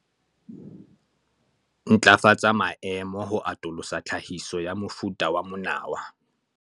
Ntlafatsa maemo ho atolosa tlhahiso ya mofuta wa monawa